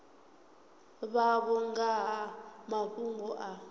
vhavho nga ha mafhungo a